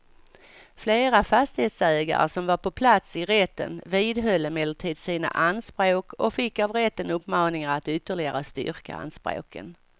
Flera fastighetsägare som var på plats i rätten vidhöll emellertid sina anspråk och fick av rätten uppmaningar att ytterligare styrka anspråken.